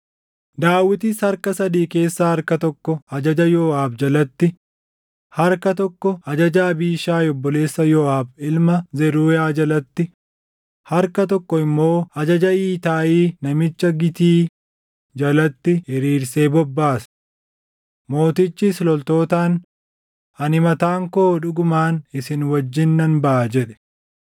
Daawitis harka sadii keessaa harka tokko ajaja Yooʼaab jalatti, harka tokko ajaja Abiishaayi obboleessa Yooʼaab ilma Zeruuyaa jalatti, harka tokko immoo ajaja Itaayii namicha Gitii jalatti hiriirsee bobbaase. Mootichis loltootaan, “Ani mataan koo dhugumaan isin wajjin nan baʼa” jedhe.